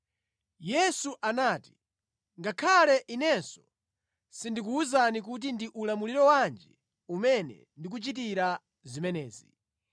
Yesu anati, “Ngakhale Inenso sindikuwuzani kuti ndi ulamuliro wanji umene ndikuchitira zimenezi.”